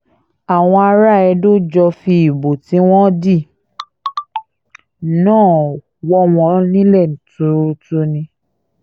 àwọn ará edo jọ fi ìbò tí wọ́n dì náà wọ̀ wọ́n nílẹ̀ tuurutu ni